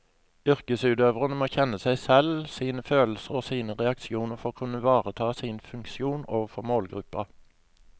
Yrkesutøverne må kjenne seg selv, sine følelser og sine reaksjoner for å kunne ivareta sin funksjon overfor målgruppen.